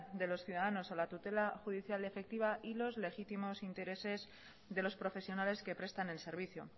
de los ciudadanos a la tutela judicial efectiva y los legítimos intereses de los profesionales que prestan el servicio